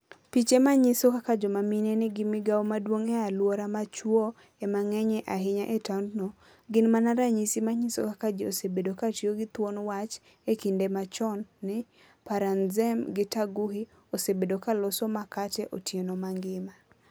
Piche ma nyiso kaka joma mine nigi migawo maduong' e alwora ma chwo ema ng'enyie ahinya e taondno, gin mana ranyisi ma nyiso kaka ji osebedo ka tiyo gi thuon wach e kinde machon ni: 'Parandzem gi Taguhi osebedo ka loso makate otieno mangima.'